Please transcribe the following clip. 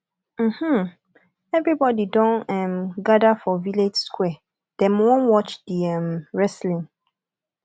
um everybodi don um gather for village square dem wan watch di um wrestling